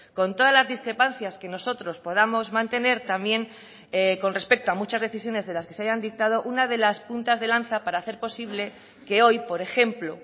con todas las discrepancias que nosotros podamos mantener también con respecto a muchas decisiones de las que se hayan dictado una de las puntas de lanza para hacer posible que hoy por ejemplo